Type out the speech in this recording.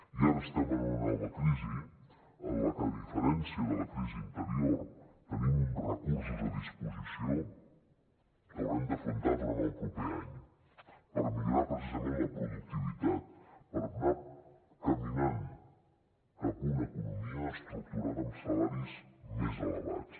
i ara estem en una nova crisi en la que a diferència de la crisi anterior tenim uns recursos a disposició que haurem d’afrontar durant el proper any per millorar precisament la productivitat per anar caminant cap a una economia estructurada amb salaris més elevats